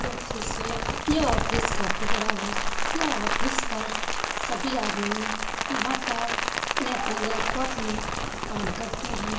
Office है यह office काफी बड़ा है यह ऑफिस पर सभी आदमी यहाँ पर अपने-अपने लैपटॉप में काम करते हैं ।